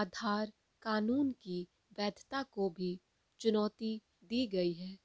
आधार कानून की वैधता को भी चुनौती दी गई है